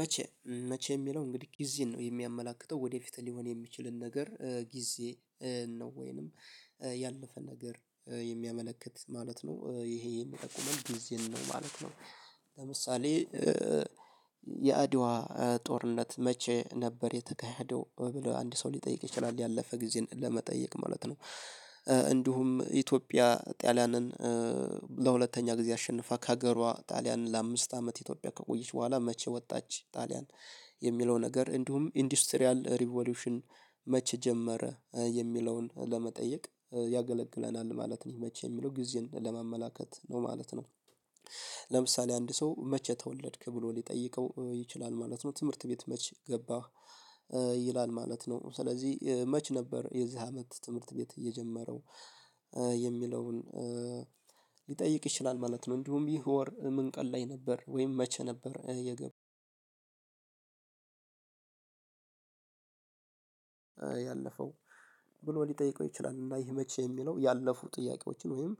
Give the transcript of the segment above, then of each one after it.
መቼ መቼ የሚለው እንግዲህ ጊዜን ነው የሚያመላክተው ወደፊት ሊሆን የሚችልን ነገር ጊዜ ነው ወይንም ያለፈን ነገር የሚያመለክት ማለት ነው ይሄ የሚጠቁመን ጊዜን ነው ማለት ነው። ለምሳሌ የአድዋ ጦርነት መቼ ነበር የተካሄደው ብሎ አንድ ሰው ሊጠይቅ ይችላል ያለፈ ጊዜን ለመጠየቅ ማለት ነው እንዲሁም ኢትዮጵያ ጣሊያንን ለሁለተኛ ጊዜ አሸንፋ ከሀገሯ ጣሊያንን ለአምስት አመት ኢትዮጵያ ከቆየች በኋላ መቼ ወጣች ጣሊያን የሚለው ነገር፣ እንዲሁም ኢንዱስትሪያል ሪቮሉሽን መቼ ጀመረ የሚለውን ለመጠየቅ ያገለግለናል ማለት ነው መቼ የሚለው ጊዜን ለማመላከት ነው ማለት ነው። ለምሳሌ አንድ ሰው መቼ ተወለድክ ብሎ ሊጠይቀው ይችላል ማለት ነው ትምህርት ቤት መቼ ገባህ ይላል ማለት ነው፤ ስለዚህ መች ነበር የዚህ አመት ትምህርት ቤት እየጀመረው የሚለውን ሊጠይቅ ይችላል ማለት ነው፣ እንዲሁም ይህ ወር ምንቀል ላይ ነበር ወይም መቼ ነበር የገባው ያለፈው ብሎ ሊጠይቀው ይችላል። እና ይሄ መቼ የሚለው ያለፉ ጥያቄዎችን ወይም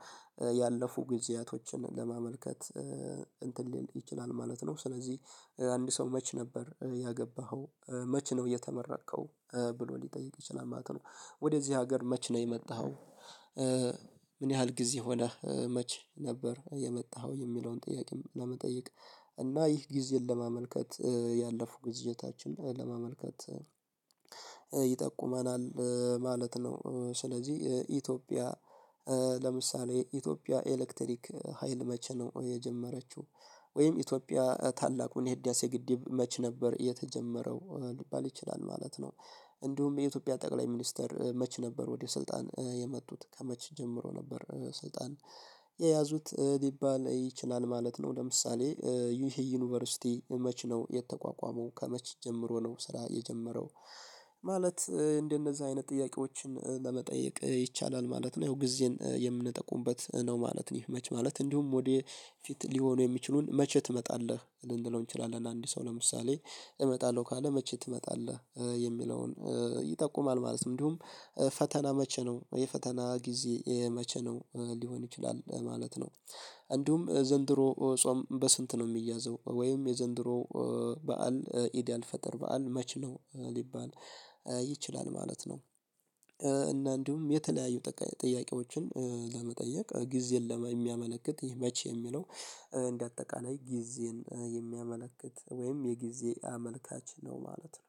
ያለፉ ጊዜያቶችን ለማመልከት እንትን ሊል ይችላል ማለት ነው ስለዚህ አንድ ሰው መች ነበር ያገባኸው፣ መቼ ነው የተመረከው፣ ብሎ ሊጠይቅ ይችላል ማለት ነው። ወደዚህ ሀገር መቼ ነው የመጣኸው ምን ያህል ጊዜ ሆነህ መች ነበር የመጣኸው የሚለውን ጥያቄም ለመጠየቅ እና ይህ ጊዜን ለማመልከት ያለፉ ጊዜታችን ለማመልከት ይጠቁመናል ማለት ነው። ስለዚህ ኢትዮጵያ ለምሳሌ ኢትዮጵያ ኤሌክትሪክ ሀይል መቼ ነው የጀመረችው ወይም ኢትዮጵያ ታላቁን የህዳሴ ግድብ መች ነበር የተጀመረው ሊባል ይችላል ማለት ነው። እንዲሁም የኢትዮጵያ ጠቅላይ ሚኒስተር መች ነበር ወደ ስልጣን የመጡት ከመች ጀምሮ ነበር ሰልጣን የያዙት ሊባል ይችላል ማለት ነው ለምሳሌ ይሄ መቼ ነው የተቋቋመው፣ ከመቼ ጀምሮ ነው ስራ የጀመረው፣ ማለት እንደነዚህ አይነት ጥያቄዎችን ለመጠየቅ ይቻላል ማለት ነው፣ ያው ጊዜን የምንጠቁምበት ነው ማለት ነው ይሄ መች ማለት እንዲሁም ወደ ፊት ሊሆኑ የሚችሉን መቼ ትመጣለህ፣ ልንለው እንችላለን አንድ ሰው ለምሳሌ እመጣለሁ ካለ መቼ ትመጣለህ የሚለውን ይጠቁማል ማለት ነው እንዲሁም ፈተና መቼ ነው የፈተና ጊዜ የመቼ ነው ሊሆን ይችላል ማለት ነው፤ እንዲሁም ዘንድሮ ጾም በስንት ነው የሚያዘው ወይም የዘንድሮ በዓል ኢድ አልፈጠር በዓል መች ነው ሊባል ይችላል ማለት ነው እና እንዲሁም የተለያዩ ጥያቄዎችን ለመጠየቅ ጊዜን የሚያመለክት ይህ መቼ የሚለው እንደ አጠቃላይ ጊዜን የሚያመለክት ወይም የጊዜ አመልካች ነው ማለት ነው።